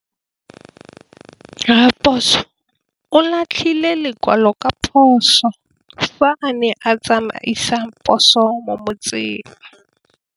Raposo o latlhie lekwalô ka phosô fa a ne a tsamaisa poso mo motseng.